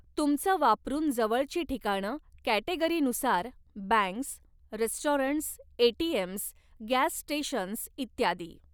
तुमचं वापरून जवळची ठिकाणं कॅटेगरीनुसार banks restaurants ATMs gas stations इत्यादी.